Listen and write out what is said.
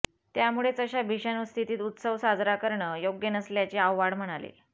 त्यामुळेच अशा भीषण स्थितीत उत्सव साजरा करणं योग्य नसल्याचे आव्हाड म्हणाले